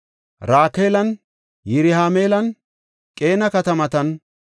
Rakaalan, Yirahima7eelan, Qeena katamatan,